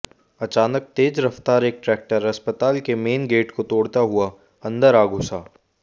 अचानक तेज रफ्तार एक ट्रैक्टर अस्पताल के मेन गेट को तोड़ता हुआ अंदर आ घुसा